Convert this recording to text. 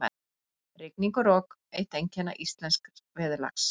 Rigning og rok- eitt einkenna íslensks veðurlags.